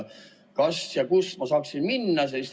Kas ja kuhu ma saaksin minna?